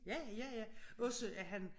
Ja ja ja også at han